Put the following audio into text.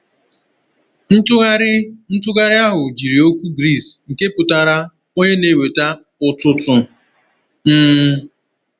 Ntụgharị Ntụgharị ahụ jiri okwu Gris nke pụtara “onye na-eweta ụtụtụ.” um